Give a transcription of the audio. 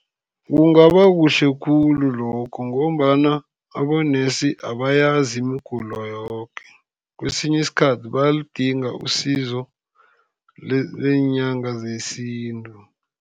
Kungaba kuhle khulu lokho, ngombana abonesi abayazi imigulo yoke, kwesinye isikhathi bayalidinga isizo leenyanga zesintu.